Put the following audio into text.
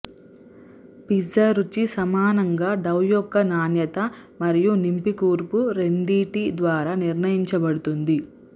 pizza రుచి సమానంగా dough యొక్క నాణ్యత మరియు నింపి కూర్పు రెండింటి ద్వారా నిర్ణయించబడుతుంది